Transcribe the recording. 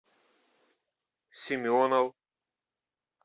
семенов